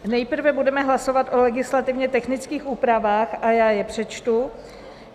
Nejprve budeme hlasovat o legislativně technických úpravách a já je přečtu.